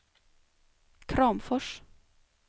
Kramfors